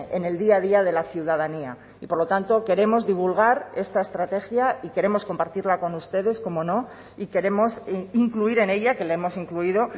en el día a día de la ciudadanía y por lo tanto queremos divulgar esta estrategia y queremos compartirla con ustedes cómo no y queremos incluir en ella que la hemos incluido